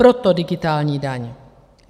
Proto digitální daň.